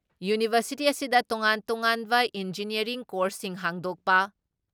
university ꯑꯁꯤꯗ ꯇꯣꯉꯥꯟ ꯇꯣꯉꯥꯟꯕ ꯏꯟꯖꯤꯅꯤꯌꯥꯔꯤꯡ ꯀꯣꯔꯁꯁꯤꯡ ꯍꯥꯡꯗꯣꯛꯄ,